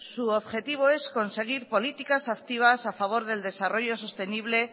su objetivo es conseguir políticas activas a favor del desarrollo sostenible